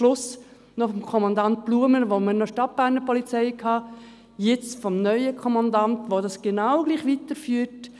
Schliesslich stammt diese vom Kommandant Blumer, als wir noch eine Stadtberner Polizei hatten, und der neue Kommandant führt es genau gleich weiter.